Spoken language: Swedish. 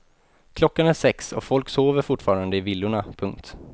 Klockan är sex och folk sover fortfarande i villorna. punkt